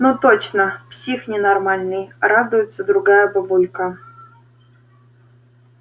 но точно псих ненормальный радуется другая бабулька